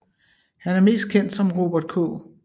Han er mest kendt som Robert K